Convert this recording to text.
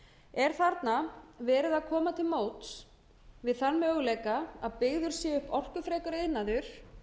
er þarna verið að koma til móts við þann möguleika að byggður sé upp orkufrekur iðnaður